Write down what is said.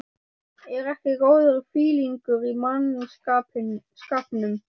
ER EKKI GÓÐUR FÍLINGUR Í MANNSKAPNUM?